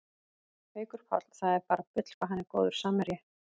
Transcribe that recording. Haukur Páll, það er bara bull hvað hann er góður samherji